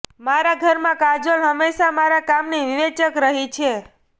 મારા ઘરમાં કાજોલ હંમેશાં મારા કામની વિવેચક રહી છે